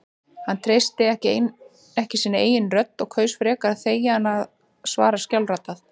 Hann treysti ekki sinni eigin rödd og kaus frekar að þegja en að svara skjálfraddað.